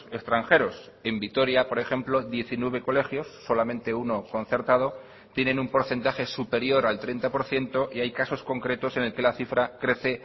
extranjeros en vitoria por ejemplo diecinueve colegios solamente uno concertado tienen un porcentaje superior al treinta por ciento y hay casos concretos en el que la cifra crece